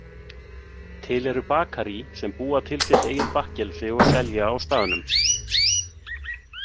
Til eru bakarí sem búa til sitt eigið bakkelsi og selja á staðnum.